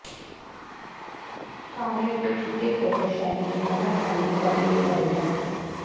ਕਾਲੇ ਅਤੇ ਚਿੱਟੇ ਫੋਟੋ ਸ਼ੈਲੀ ਦੇ ਬਾਹਰ ਜਾਣ ਦੀ ਕਦੇ ਵੀ ਕਰੇਗਾ